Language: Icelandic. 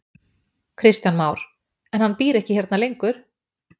Kristján Már: En hann býr ekki hérna lengur?